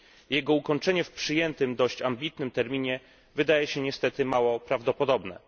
Jego ukończenie w przyjętym, dość ambitnym terminie wydaje się niestety mało prawdopodobne.